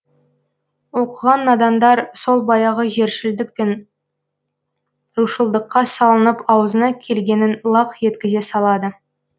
оқыған надандар сол баяғы жершілдік пен рушылдыққа салынып аузына келгенін лақ еткізе салады